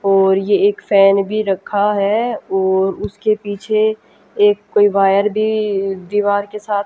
और ये एक फैन भी रखा है और उसके पीछे एक कोई वायर भी दीवार के साथ--